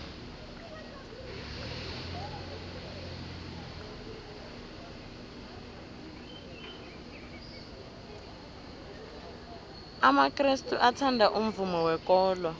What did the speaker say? amakrestu athanda umvumo wekolo